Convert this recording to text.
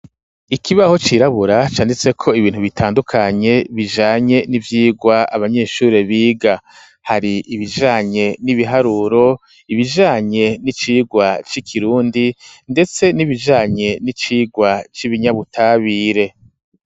Ikibaho cirabura canditseko ibintu bitandukanye bijanye n'ivyirwa abanyeshuri biga hari ibijanye n'ibiharuro ibijanye n'icirwa c'ikirundi ndetse n'ibijanye n'icirwa c'ibinyabutabire.